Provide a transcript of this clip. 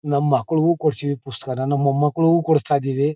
ನಮ್ಮ್ ಮಕ್ಕಳಿಗೂ ಕೊಡಿಸಿದ್ದಿವಿ ಪುಸ್ತಕಾನ ನಮ್ಮ್ ಮೊಮ್ಮಕ್ಕಳಿಗೂ ಕೊಡಿಸ್ತಾ ಇದ್ದಿವಿ.